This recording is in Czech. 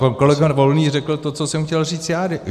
Pan kolega Volný řekl to, co jsem chtěl říct já.